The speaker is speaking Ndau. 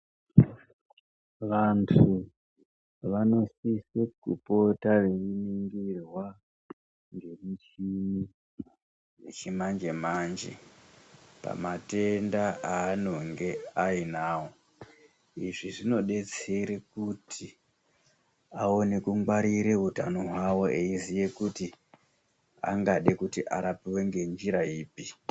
Vantu vanosise kupota veiningirwa ngemichini yechimanje manje pamatenda evanenge einawo. Izvi zvinodetsere kuti aone kungwarire utano hwavo eiziva kuti angade kurapwe ngenzira ipi?